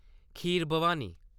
खीर Bhawani